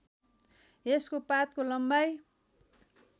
यसको पातको लम्बाइ